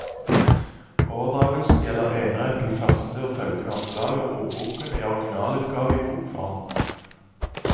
Overdragelsen gjelder enerett til første og følgende opplag av ordboken i originalutgave i bokform.